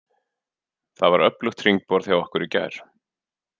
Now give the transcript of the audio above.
Það var öflugt hringborð hjá okkur í gær.